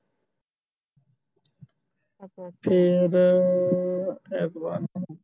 ਫਿਰ ਐਤਵਾਰ ਨੂੰ